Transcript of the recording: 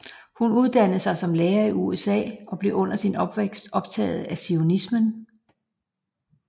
Hun uddannede sig som lærer i USA og blev under sin opvækst optaget af zionismen